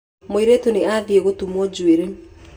Mũirĩtu nĩ athiĩ gũtumuo njuĩrĩ.